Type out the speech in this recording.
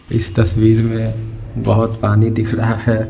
इस तस्वीर में बहुत पानी दिख रहा है ।